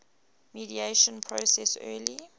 mediation process early